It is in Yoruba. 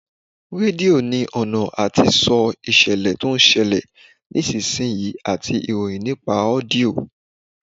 Rédíò ní ọ̀nà àti sọ ìṣẹ̀lẹ̀ tí ó ń ṣẹlẹ̀ ní ìsinsìnyí àti ìròyìn nípa ọ́díọ̀